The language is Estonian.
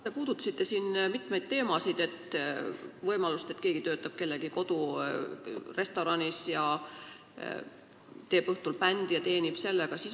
Te puudutasite siin mitmeid teemasid, võimalust, et keegi töötab kellegi kodurestoranis ja teeb õhtul bändi ja teenib sellega.